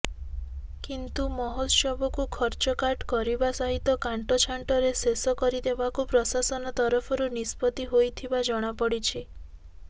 କିନ୍ତୁ ମହୋତ୍ସବକୁ ଖର୍ଚ୍ଚକାଟ୍ କରିବା ସହିତ କାଣ୍ଟ ଛାଣ୍ଟରେ ଶେଷ କରିଦେବାକୁ ପ୍ରଶାସନ ତରଫରୁ ନିଷ୍ପତ୍ତି ହୋଇଥିବା ଜଣାପଡ଼ିଛି